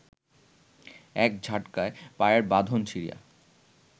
এক ঝটকায় পায়ের বাঁধন ছিঁড়িয়া